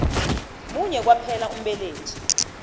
munye kwaphela umbelethi